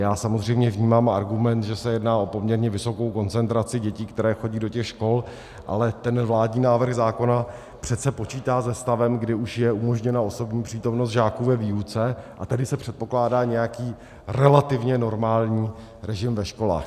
Já samozřejmě vnímám argument, že se jedná o poměrně vysokou koncentraci dětí, které chodí do těch škol, ale ten vládní návrh zákona přece počítá se stavem, kdy už je umožněna osobní přítomnost žáků ve výuce, a tedy se předpokládá nějaký relativně normální režim ve školách.